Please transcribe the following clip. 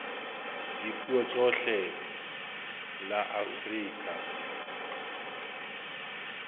la dipuo tsohle la afrika